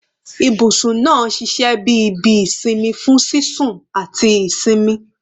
Ibusun naa n ṣiṣẹ bi ibi isinmi fun sisun ati isinmi